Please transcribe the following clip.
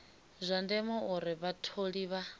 zwa ndeme uri vhatholi vha